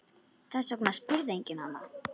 Þess vegna spurði enginn hana.